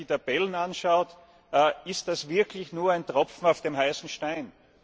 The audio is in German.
Wenn man sich die Tabellen anschaut, ist das wirklich nur ein Tropfen auf dem heißen Stein.